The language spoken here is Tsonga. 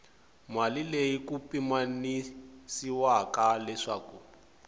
mali leyi ku pimanyisiwaka leswaku